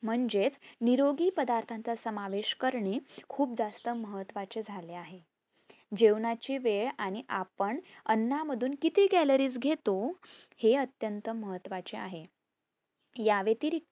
म्हणजेच निरोगी पदार्थांचा समावेश करणे खूप जास्त महत्वाचे झाले आहे. जेवणाची वेळ आणि आपण आनामधून किती caloris घेतो हे अत्यंत महत्वाचं आहे. यावेतिरिक्त